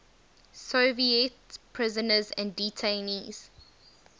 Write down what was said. soviet prisoners and detainees